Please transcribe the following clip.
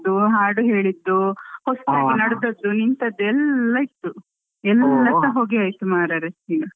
ಹಾಡು ಹೇಳಿದ್ದು ಹೊಸ್ತಾಗಿ ನಡೆದದ್ದು ನಿಂತದ್ದು ಎಲ್ಲ ಇತ್ತು ಎಲ್ಲಾ ಸಹ ಹೋಗಿ ಹೋಯಿತುಮಾರೈರೆ ಈಗ.